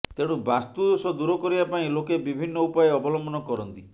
ତେଣୁ ବାସ୍ତୁଦୋଷ ଦୂର କରିବା ପାଇଁ ଲୋକେ ବିଭିନ୍ନ ଉପାୟ ଅବଲମ୍ବନ କରନ୍ତି